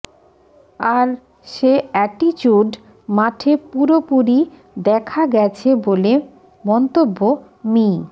আর সে অ্যাটিচুড মাঠে পুরোপুরি দেখা গেছে বলে মন্তব্য মি